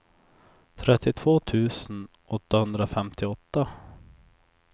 trettiotvå tusen åttahundrafemtioåtta